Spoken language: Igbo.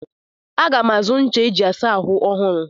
Aga m azụ ncha eji asa ahụ ọhụrụ.